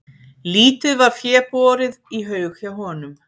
Lítið var fé borið í haug hjá honum.